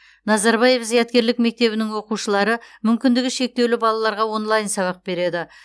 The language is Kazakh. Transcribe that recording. назарбаев зияткерлік мектебінің оқушылары мүмкіндігі шектеулі балаларға онлайн сабақ береді